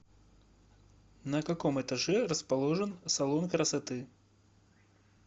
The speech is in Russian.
на каком этаже расположен салон красоты